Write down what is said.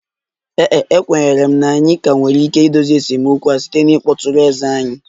Ee e, ekwenyere m na anyị ka nwere ike idozi esemokwu ahụ site na ịkpọtụrụ eze anyị